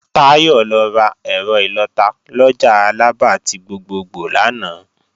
Táyọ̀ lọ rà ẹ̀rọ ìlọta lọjà Alaba ti gbogbogbò lánàá